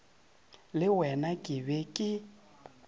le wena ke be ke